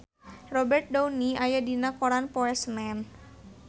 Robert Downey aya dina koran poe Senen